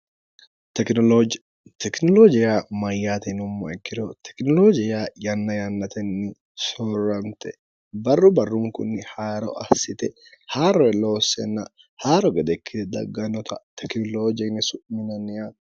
tekinoloojiya mayyaatinummo ikkiro tekinoloojiya yanna yannatenni soorramte barru barrunkunni hayiro assite haarre loossenna haa'ro gedekkie dagganota tekinoloojinni su'minanni yaati